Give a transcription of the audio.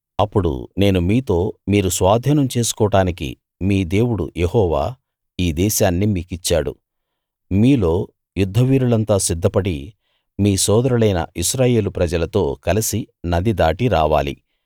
అప్పుడు నేను మీతో మీరు స్వాధీనం చేసుకోడానికి మీ దేవుడు యెహోవా ఈ దేశాన్ని మీకిచ్చాడు మీలో యుద్ధవీరులంతా సిద్ధపడి మీ సోదరులైన ఇశ్రాయేలు ప్రజలతో కలిసి నది దాటి రావాలి